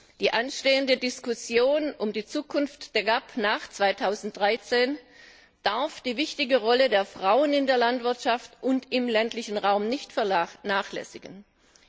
Bei der anstehenden Diskussion um die Zukunft der GAP nach 2013 darf die wichtige Rolle der Frauen in der Landwirtschaft und im ländlichen Raum nicht vernachlässigt werden.